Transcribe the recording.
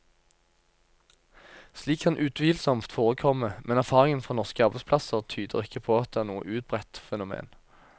Slikt kan utvilsomt forekomme, men erfaringen fra norske arbeidsplasser tyder ikke på at det er noe utbredt fenomen.